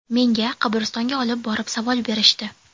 Menga qabristonga olib borib savol berishdi.